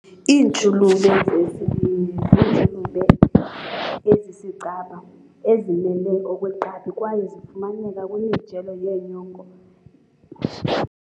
Iintshulube zesibindi ziintshulube ezisicaba, ezimile okweqgabi kwaye zifumaneka kwimijelo yenyongo